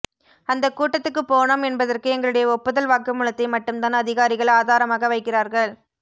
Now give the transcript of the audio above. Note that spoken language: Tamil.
அந்த கூட்டத்துக்குப் போனோம் என்பதற்கு எங்களுடைய ஒப்புதல் வாக்குமூலத்தை மட்டும்தான் அதிகாரிகள் ஆதாரமாக வைக்கிறார்கள்